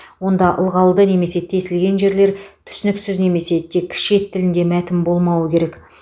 онда ылғалды немесе тесілген жерлер түсініксіз немесе тек шет тілінде мәтін болмауы керек